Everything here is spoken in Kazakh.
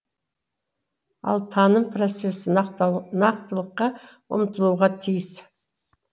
ал таным процесі нақтылыққа ұмтылуға тиіс